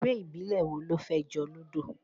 Eré ìbílẹ̀ wo ló fẹ́ jọ Ludo?